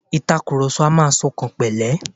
Ìtakurọlsọ a máa ṣọkànpẹ̀lẹ́.